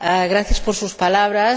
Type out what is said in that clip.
Gracias por sus palabras.